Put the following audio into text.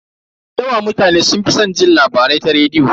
Da yawa mutane sun fi san jin labarai ta rediyo.